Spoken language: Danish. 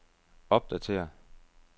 opdatér